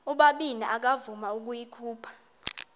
ubabini akavuma ukuyikhupha